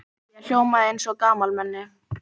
Ég hljómaði eins og gamalmenni.